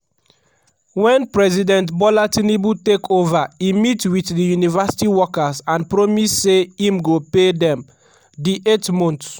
wen president bola tinubu take ova e meet wit di university workers and promise say im go pay dem di eight months